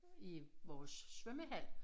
I vores svømmehal